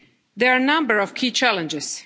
first step. There are a number